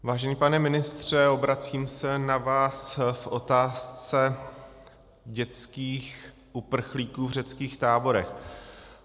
Vážený pane ministře, obracím se na vás v otázce dětských uprchlíků v řeckých táborech.